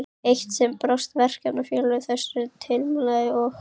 Eitt sinn brást Verkakvennafélagið þessum tilmælum og